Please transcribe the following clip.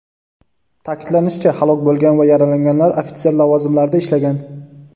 Ta’kidlanishicha, halok bo‘lgan va yaralanganlar ofitser lavozimlarida ishlagan.